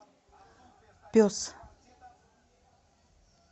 пес